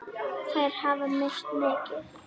Þær hafa misst mikið.